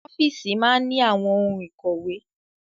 Ọ́fíìsì máa ní àwọn ohun ìkọ̀wé.